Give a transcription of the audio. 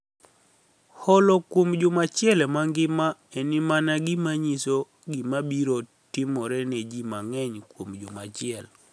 Holo kuom juma manigima'eni mania gima niyiso gima biro timore ni e ji manig'eniy kuom juma achiel.